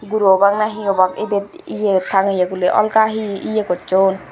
guru obak nahi obak idet ye tangeye guli olga hi ye gosson.